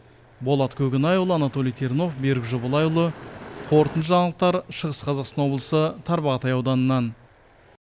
болат көкенайұлы анатолий тернов берік жобалайұлы қорытынды жаңалықтар шығыс қазақстан облысы тарбағатай ауданынан